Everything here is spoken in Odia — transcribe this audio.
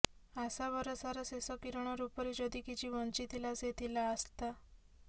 ଆଶା ଭରସାର ଶେଷ କିରଣ ରୂପରେ ଯଦି କିଛି ବଂଚିଥିଲା ସେ ଥିଲା ଆସ୍ଥା